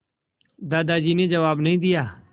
दादाजी ने जवाब नहीं दिया